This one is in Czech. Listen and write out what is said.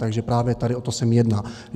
Takže právě tady o to se mi jedná.